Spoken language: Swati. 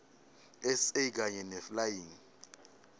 sa kanye neflying